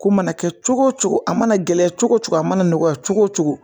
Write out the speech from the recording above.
Ko mana kɛ cogo o cogo a mana gɛlɛya cogo cogo a mana nɔgɔya cogo o cogo